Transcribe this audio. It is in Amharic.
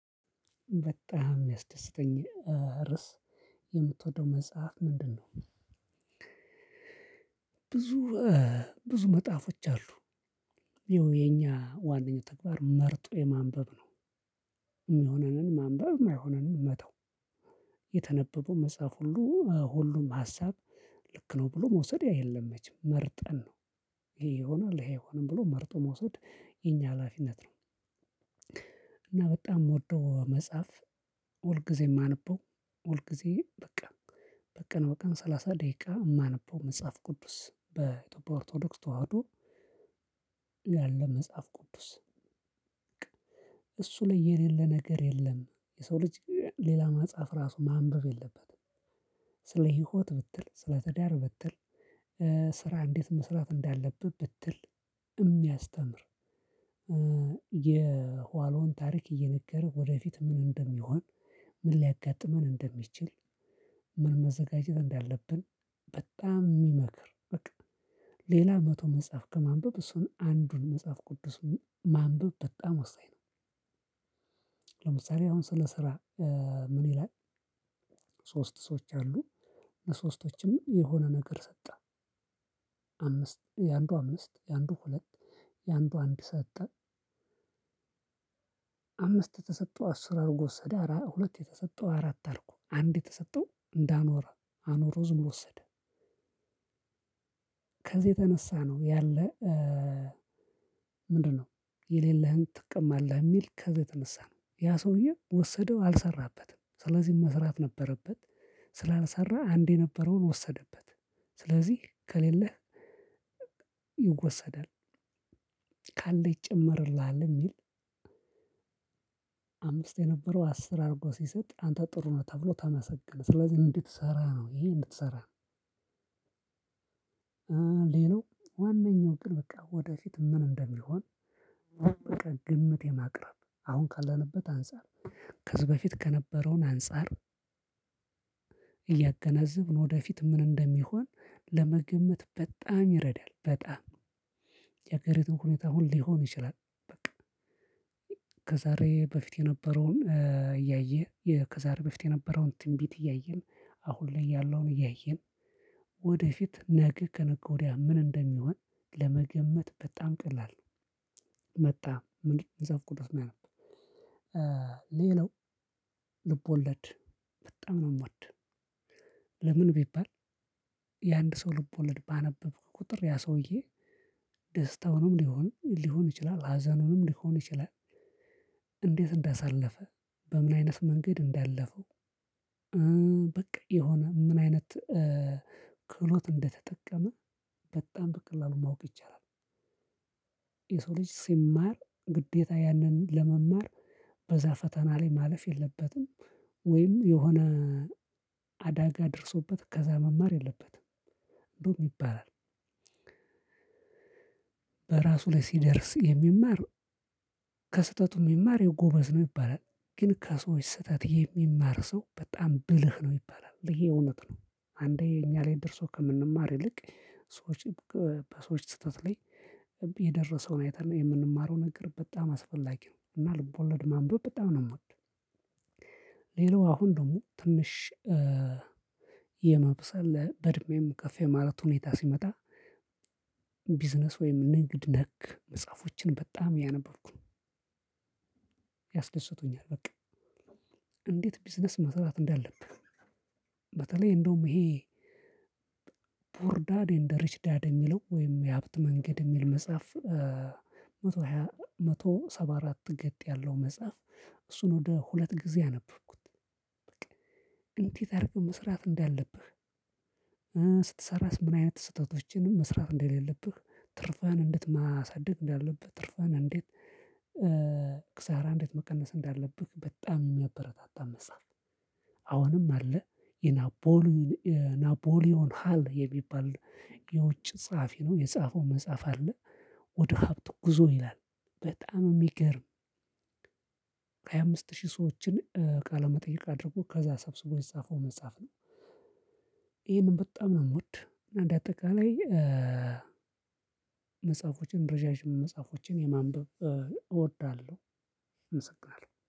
በጣም ያስደሰተኝ ርዕስ የምትወደው መጽሐፍ ምንድነው? ብዙ ብዙ መጽሐፎች አሉ ይኸው የኛ ዋናኛው ተግባር መርጦ የማንበብ ነው። የሚሆነንን ማንበብ የማይሆነንን መተው የተነበበው መጽሐፍ ሁሉ ሁሉም ሀሳብ ልክ ነው ብሎ መውሰድ የለም መቼም መርጠን ነው ይሄ ይሆናል ይሄ አይሆንም ብሎ መርጦ መውሰድ የኛ ሀላፊነት ነው። እና በጣም ምወደው መጽሐፍ ሁል ጊዜ ማነበው ሁል ጊዜ በቃ በቀን በቀን ሰላሳ ደቂቃ የማነበው መጽሐፍ ቅዱስ በኢትዮጵያ ኦርቶዶክስ ተዋህዶ ያለ መጽሐፍ ቅዱስ። እሱ ላይ የሌለ ነገር የለም የሰው ልጅ ሌላ መፅሀፍ ራሱ ማንበብ የለበትም። ስለ ህይወት ብትል ስለ ትዳር ብትል ስራ እንዴት መስራት እንዳለብህ ብትል እሚያስተምር የኋሎን ታሪክ እየነገረ ወደፊት ምን ምን ሊያጋጥመን እንደሚችል ምን መዘጋጀት እንዳለብን በጣም ሚመክር በቃ ሌላ መቶ መጽሐፍ ከማንበብ እሱን አንዱን መጽሐፍ ቅዱስ ማንበብ በጣም ወሳኝ ነው። ለምሳሌ አሁን ስለ ስራ ምን ይላል? ሶስት ሰዎች አሉ ለሶስቶችም የሆነ ነገር ሰጠ አምስት የአንዱ አምስት የአንዱ ሁለት የአንዱ አንድ ሰጠ አምስት ተሰጥቶ አስር አርጎ ወሰደ ሁለት የተሰጠው አራት አርጎ አንድ የተሰጠው እንዳኖረ አኑሮ ዝም ብሎ ወሰደ። ከዚህ የተነሳ ነው ያለ። ምንድነው? የሌለህን ትቅማለህ የሚል ከዚህ የተነሳ ነው ያ ሰውዬ ወሰደው አልሰራበትም ስለዚህ መስራት ነበረበት። ስላልሰራ አንዴ የነበረውን ወሰደበት ስለዚህ ከሌለህ ይወሰዳል። ካለ ይጨመርልሃል የሚል። አምስት የነበረው አስር አርጎ ሲሰጥ አንተ ጥሩ ነው ተብሎ ተመሰገነ ስለዚህ እንድትሰራ ነው ይሄ እንድትሰራ። ሌላው ዋነኛው ግን በቃ ወደፊት ምን እንደሚሆን በቃ ግምት የማቅረብ አሁን ካለንበት አንፃር ከዚህ በፊት ከነበረውን አንፃር እያገናዘብን ወደፊት ምን እንደሚሆን ለመገመት በጣም ይረዳል በጣም ያገሪቱን ሁኔታ ሁሉ ሊሆን ይችላል። በቃ ከዛሬ በፊት የነበረውን እያየ ከዛሬ በፊት የነበረውን ትንቢት እያየን አሁን ላይ ያለውን እያየን ወደፊት ነገ ከነገ ወዲያ ምን እንደሚሆን ለመገመት በጣም ቀላል ነው። መጣ ምን መፅሀፍ ቅዱስ ነው የሚለው። ሌላው ልብ ወለድ በጣም ነው ምወድ። ለምን ቢባል? የአንድ ሰው ልቦለድ ባነበብክ ቁጥር ያ ሰውዬ ደስታውንም ሊሆን ሊሆን ይችላል ሀዘኑንም ሊሆን ይችላል እንዴት እንዳሳለፈ በምን አይነት መንገድ እንዳለፈው በቃ የሆነ ምን አይነት ክህሎት እንደተጠቀመ በጣም በቀላሉ ማወቅ ይቻላል። የሰው ልጅ ሲማር ግዴታ ያንን ለመማር በዛ ፈተና ላይ ማለፍ የለበትም። ወይም የሆነ አዳጋ ደርሶበት ከዛ መማር የለበትም። እንደውም ይባላል። በራሱ ላይ ሲደርስ የሚማር ከስህተቱ የሚማር የጎበዝ ነው ይባላል። ግን ከሰዎች ስህተት የሚማር ሰው በጣም ብልህ ነው ይባላል ይሄ እውነት ነው። አንዴ እኛ ላይ ደርሶ ከምንማር ይልቅ ሰዎች በሰዎች ስህተት ላይ የደረሰውን አይተን የምንማረውን ነገር በጣም አስፈላጊ ነው። እና ልቦለድ ማንበብ በጣም ነው ምወድ። ሌላው አሁን ደግሞ ትንሽ የመብሰል በእድሜም ከፍ የማለት ሁኔታ ሲመጣ ቢዝነስ ወይም ንግድ ነክ መጽሐፎችን በጣም እያነበብኩ ነው። ያስደስቱኛል በቃ እንዴት ቢዝነስ መስራት እንዳለብህ። በተለይ እንደውም ይሄ ፑርዳድ ኤንድ ሪችዳድ የሚለው ወይም የሀብት መንገድ የሚል መጽሐፍ መቶ ሃያ መቶ ሰባ አራት ገጥ ያለው መጽሐፍ። እሱን ወደ ሁለት ጊዜ አነበብኩት። በቃ እንዴት አርገህ መስራት እንዳለብህ ስትሰራስ ምን አይነት ስህተቶችን መስራት እንደሌለብህ። ትርፍህን እንዴት ማሳደግ እንዳለብህ ትርፍህን እንዴት ኪሳራ እንዴት መቀነስ እንዳለብህ በጣም የሚያበረታታ መጽሐፍ። አሁንም አለ የናቦሊዮን ናቦሊዮን ሃል የሚባል የውጭ ጸሐፊ ነው የጻፈው መጽሐፍ አለ። ወደ ሀብት ጉዞ ይላል። በጣም የሚገርም ሃያ አምስት ሺህ ሰዎችን ቃለመጠየቅ አድርጎ ከዛ ሰብስቦ የጻፈው መጽሐፍ ነው። ይሄንን በጣም ነው ምወድ እና እንዳጠቃላይ መጽሐፎችን ረዣዥም መጽሐፎችን የማንበብ እወዳለሁ። አመሰግናለው።